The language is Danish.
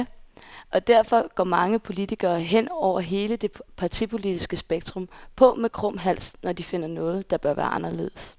Og derfor går mange politikere, hen over hele det partipolitiske spektrum, på med krum hals, når de finder noget, der bør være anderledes.